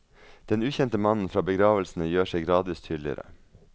Den ukjente mannnen fra begravelsene gjør seg gradvis tydligere.